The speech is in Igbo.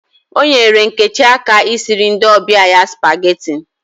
O nyere Nkechi aka I siri ndi obia ya supageti